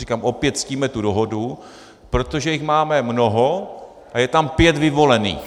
Říkám, opět ctíme tu dohodu, protože jich máme mnoho a je tam pět vyvolených.